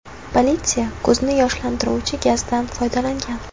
Politsiya ko‘zni yoshlantiruvchi gazdan foydalangan.